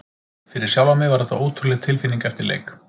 Fyrir sjálfan mig var þetta ótrúleg tilfinning eftir leik.